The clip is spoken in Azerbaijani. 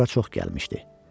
Bura çox gəlmişdi.